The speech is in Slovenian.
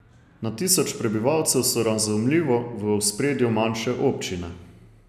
Na tisoč prebivalcev so razumljivo v ospredju manjše občine.